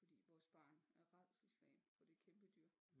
Fordi vores barn er rædselsslagen for det kæmpe dyr